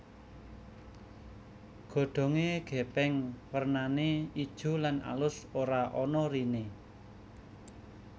Godhonge gepeng wernane ijo lan alus ora ana rine